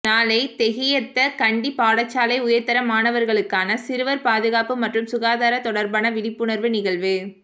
நாளை தெஹியத்த கண்டி பாடசாலை உயர்தர மாணவர்களுக்கான சிறுவர் பாதுகாப்பு மற்றும் சுகாதாரம் தொடர்பான விழிப்புணர்வு நிகழ்வு